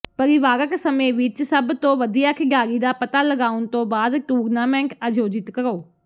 ਪਰਿਵਾਰਕ ਸਮੇਂ ਵਿਚ ਸਭ ਤੋਂ ਵਧੀਆ ਖਿਡਾਰੀ ਦਾ ਪਤਾ ਲਗਾਉਣ ਤੋਂ ਬਾਅਦ ਟੂਰਨਾਮੈਂਟ ਆਯੋਜਿਤ ਕਰੋ